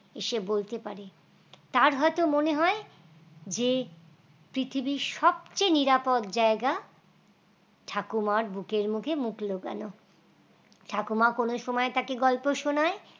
এসে বলতে পারে তার হয়তো মনে হয় যে পৃথিবীর সব চেয়ে নিরাপদ জায়গা ঠাকুমার বুকের মুখে মুখ লুকানো ঠাকুমা কোন সময় থাকে গল্প শোনায়